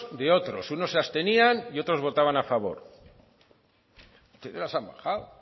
de otros unos se abstenían y otros votaban a favor y ahora se han bajado